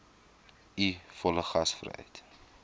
u volle gasvryheid